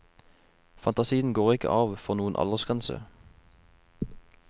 Fantasien går ikke av for noen aldersgrense.